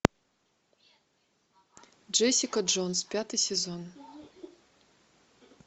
джессика джонс пятый сезон